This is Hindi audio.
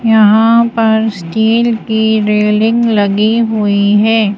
यहाँ पर स्टील की रेलिंग लगी हुई है।